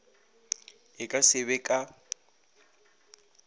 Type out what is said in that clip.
e ka se be ka